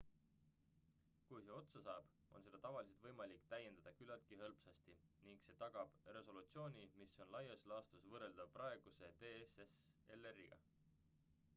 kui see otsa saab on seda tavaliselt võimalik täiendada küllaltki hõlpsasti ning see tagab resolutsiooni mis on laias laastus võrreldav praeguse dslr-iga